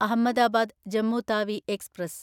Ahmedabad Jammu Tawi express